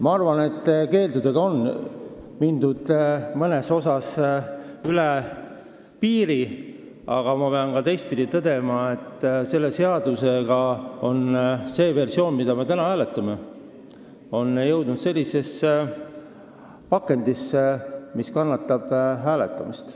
Ma arvan, et keeldudega on mindud mõnes asjas üle piiri, aga ma pean tõdema ka teistpidi, et selle seaduse see versioon, mida me täna hääletame, on nüüd sellises pakendis, mis kannatab hääletamist.